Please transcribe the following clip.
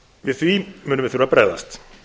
við því munum við þurfa að bregðast